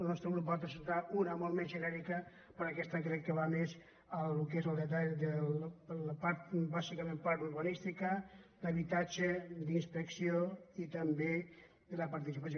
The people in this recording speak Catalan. el nostre grup en va presentar una de molt més genèri·ca però aquesta crec que va més al que és el detall de la part bàsicament urbanística d’habitatge d’inspec·ció i també de la participació